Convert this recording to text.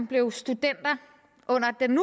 blevet studenter under den